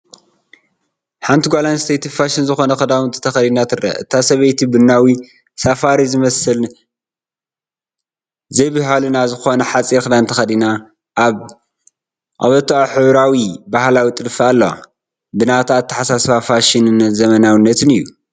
ሓንቲ ጓል ኣንስተይቲ ፋሽን ዝኾነ ክዳውንቲ ተኸዲና ትረአ። እታ ሰበይቲ ቡናዊ፡ ሳፋሪ ዝመስል፡ ዘይብህልና ዝኾነ ሓጺር ክዳን ተኸዲና፡ ኣብ ቀበቶኣ ሕብራዊ ባህላዊ ጥልፊ ኣለዋ። ብናታ ኣታሓሳስባ ፋሽንን ዘመናዊነትን እዩ።